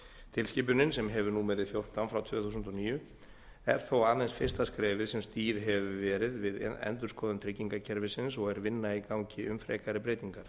tilskipunin sem hefur númerið fjórtán frá tvö þúsund og níu er þó aðeins fyrsta skrefið sem stigið hefur verið við endurskoðun tryggingakerfisins og er vinna í gangi um frekari breytingar